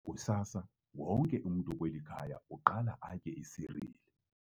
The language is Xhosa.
Kusasa wonke umntu kweli khaya uqala atye isiriyeli.